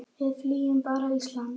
Við fylgjum bara Íslandi